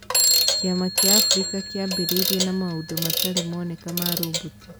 Kĩama kĩa Africa kĩambĩrĩirie na maũndũ matarĩ moneka ma roboti